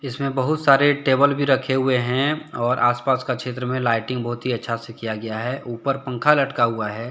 इसमें बहुत सारे टेबल भी रखे हुवे हैऔर आस पास के क्षेत्र में लाइटिंग बहुत अच्छा से किया गया है ऊपर पंखा लटका हुआ है।